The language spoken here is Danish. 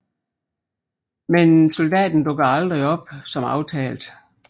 Men soldaten dukkede aldrig op som aftalt